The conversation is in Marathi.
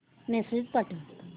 मेसेज पाठव